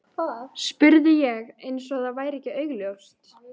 spurði ég- eins og það væri ekki augljóst.